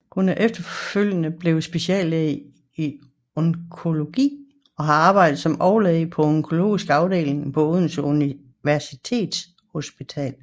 Hun er efterfølgende blevet speciallæge i onkologi og har arbejdet som overlæge på onkologisk afdeling på Odense Universitetshospital